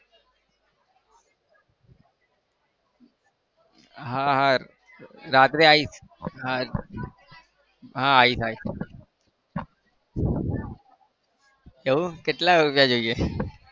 હા હા રાત્રે આવીશ હા આવીશ આવીશ એવું કેટલા રૂપિયા જોઈએ છે?